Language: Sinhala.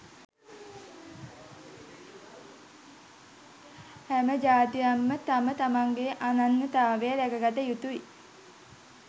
හැම ජාතියක්ම තම තමන්ගේ අනන්‍යතාව රැකගත යුතුයි.